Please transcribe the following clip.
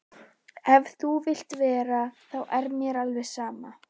Ef þú vilt vera þá er mér alveg sama.